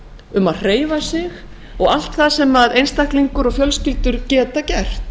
um að hreyfa sig og allt það sem einstaklingur og fjölskyldur geta gert